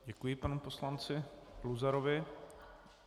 Děkuji panu poslanci Luzarovi.